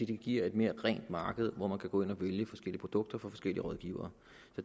det giver et mere rent marked hvor man kan gå ind og vælge forskellige produkter fra forskellige rådgivere